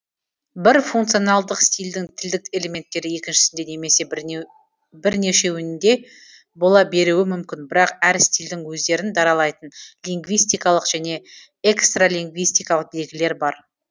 бір функциональдық стильдің тілдік элементтері екіншісінде немесе бірнешеуінде бола беруі мүмкін бірақ әр стильдің өздерін даралайтын лингвистикалық және экстралингвистикалық белгілер бар